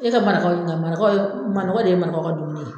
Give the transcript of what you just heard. E ka marakaw ɲininka marakaw ye manɔgɔ de ye marakaw ka dumuni ye.